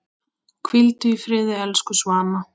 Hvíldu í friði, elsku Svana.